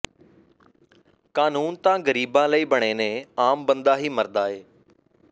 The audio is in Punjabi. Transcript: ਕਾਨੂੰਨ ਤਾ ਗਰੀਬਾ ਲਈ ਬਣੇ ਨੇ ਆਮ ਬੰਦਾ ਹੀ ਮਰਦਾ ਏ